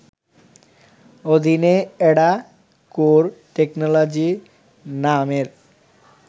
অধীনে AdaCore technology নামের